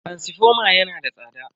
taransifoma yana da tsada.